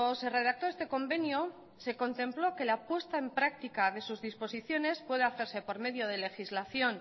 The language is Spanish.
se redactó este convenio se contempló que la puesta en práctica de sus disposiciones pueda hacerse por medio de legislación